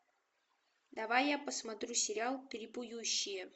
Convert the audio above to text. давай я посмотрю сериал трипующие